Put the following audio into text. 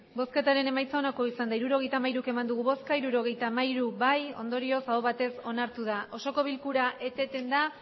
hirurogeita hamairu eman dugu bozka hirurogeita hamairu bai ondorioz aho batez onartu da osoko bilkura eteten da